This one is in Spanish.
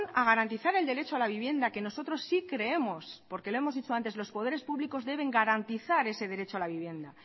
a garantizar el derecho a la vivienda que nosotros sí creemos porque lo hemos dicho antes que los poderes públicos deben garantizar ese derecho a la vivienda